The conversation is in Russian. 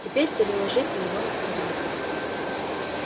теперь переложите его на слова